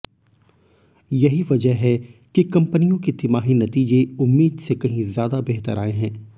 यही वजह है कि कंपनियों के तिमाही नतीजे उम्मीद से कही ज्यादा बेहतर आए हैं